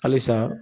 Halisa